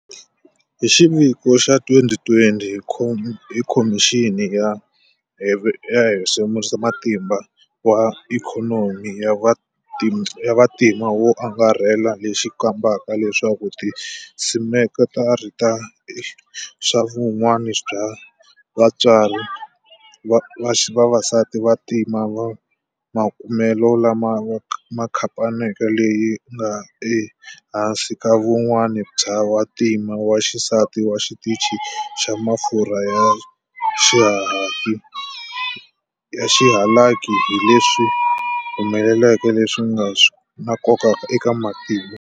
Hi xiviko xa 2020 hi Khomixini ya Havexerisamatimba wa Ikhonomi ya Vantima wo Angarhela lexi kombaka leswaku tisekitara ta swa vun'wini bya vavasati va vantima, makumelo lama hi khamphani leyi nga ehansi ka vun'wini bya wa ntima wa xisati wa xitichi xa mafurha ya xihalaki hi leswi humelelaka leswi nga swa nkoka eka matimu.